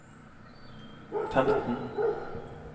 femten